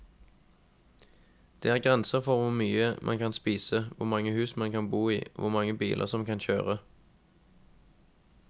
Det er grenser for hvor mye man kan spise, hvor mange hus man kan bo i, hvor mange biler man kan kjøre.